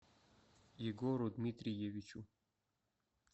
егору дмитриевичу